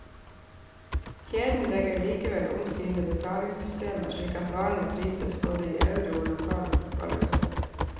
Kjeden legger likevel om sine betalingssystemer slik at varene prises både i euro og lokal valuta.